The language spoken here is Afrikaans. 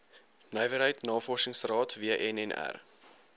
nywerheid navorsingsraad wnnr